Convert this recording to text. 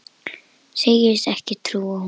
Segist ekki trúa honum.